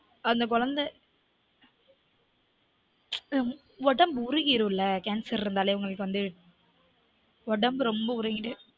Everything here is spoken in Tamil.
அந்த கொழந்த ஒடம்பு உருகிரும்ல கேன்சர் இருந்தாலே உங்களுக்கு வந்து ஒடம்பு ரொம்ப உருகிடும்